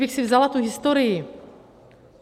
Kdybych si vzala tu historii...